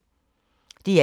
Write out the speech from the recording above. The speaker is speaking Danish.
DR1